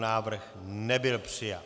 Návrh nebyl přijat.